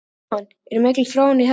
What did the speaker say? Jóhann, er mikil þróun í þessum málum?